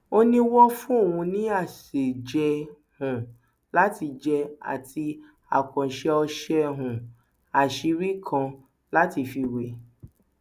ó ní wọn fún òun ní àṣejẹ um láti jẹ àti àkànṣe ọṣẹ um àṣírí kan láti fi wé